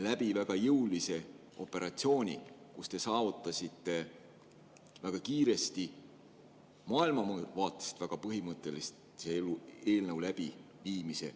läbi väga jõulise operatsiooni, millega te saavutasite väga kiiresti maailmavaateliselt väga põhimõttelise eelnõu läbisurumise.